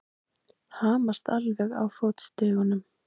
Hamast alveg á fótstigunum!